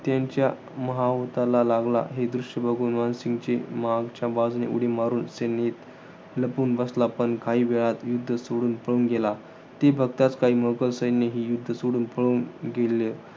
त्यांच्या महावताला लागला. हे दृश्य बघून मानसिंगचे मागच्या बाजूने उडी मारून सैनीत लपून बसला. पण काही वेळात युध्द सोडून पळून गेला. ते बघताच काही मुघल सैन्यही युद्ध सोडून पळून गेले.